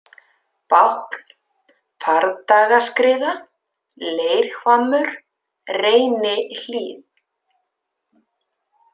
Bákn, Fardagaskriða, Leirhvammur, Reynihlíð